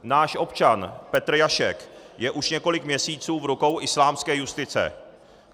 Náš občan Petr Jašek je už několik měsíců v rukou islámské justice.